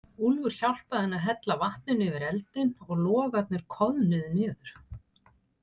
Úlfur hjálpaði henni að hella vatninu yfir eldinn og logarnir koðnuðu niður.